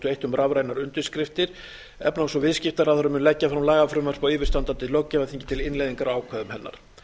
eitt um rafrænar undirskriftir efnahags ég viðskiptaráðherra mun leggja fram lagafrumvarp á yfirstandandi löggjafarþingi til innleiðingar á ákvæðum hennar það er